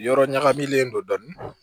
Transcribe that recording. Yɔrɔ ɲagaminen don dɔɔnin